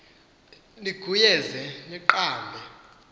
niguye ze niqambe